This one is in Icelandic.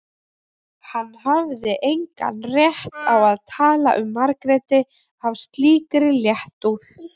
Hann hafði engan rétt á að tala um Margréti af slíkri léttúð.